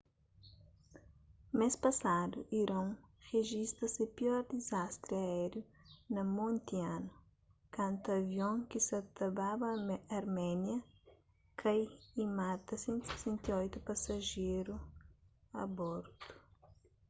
mês pasadu iron rijista se pior dizastri aériu na monti anu kantu avion ki sa ta baba arménia tkai y manta 168 pasajeru a bordu